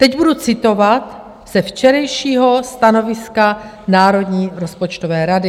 Teď budu citovat ze včerejšího stanoviska Národní rozpočtové rady.